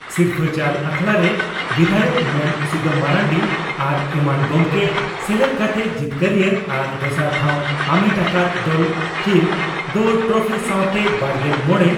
ᱥᱤᱨᱯᱷᱟᱹ ᱪᱟᱞ ᱟᱠᱷᱲᱟᱨᱮ ᱵᱤᱫᱷᱟᱭᱚᱠ ᱢᱟᱹᱱ ᱥᱩᱫᱟᱹᱢ ᱢᱟᱨᱱᱰᱤ ᱟᱨ ᱮᱢᱟᱱ ᱜᱚᱢᱠᱮ ᱥᱮᱞᱮᱫ ᱠᱟᱛᱮ ᱡᱤᱛᱠᱟᱹᱨᱤᱭᱟᱹ ᱟᱨ ᱫᱚᱥᱟᱨ ᱴᱷᱟᱣ ᱟᱢᱮᱴ ᱟᱠᱟᱫ ᱫᱚᱞ ᱠᱤᱱ ᱫᱚ ᱴᱨᱚᱯᱷᱤ ᱥᱟᱣᱛᱮ ᱵᱟᱨᱜᱮᱞ ᱢᱚᱲᱮ